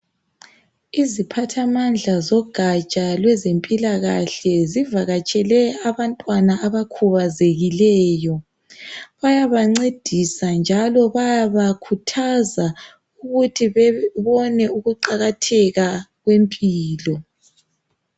Iziphathamandla zogatsha lwezempilakahle zivakatshele abantwana abakhubazekileyo bayaba ncedisa njalo bayaba khuthaza ukuthi bebone ukuqakatheka kwempilo.